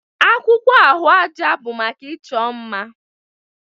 Akwụkwọ ahụaja bụ maka ịchọ mma